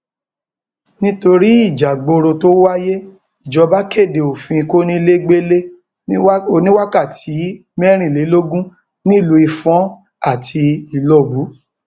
nítorí ìjààgboro tó wáyé ìjọba kéde òfin kọnilẹgbẹlẹ oníwákàtí mẹrìnlélógún nílùú ifon àti ìlọbù